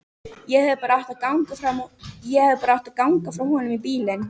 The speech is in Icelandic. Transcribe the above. Ég hefði bara átt að ganga frá honum í bílnum.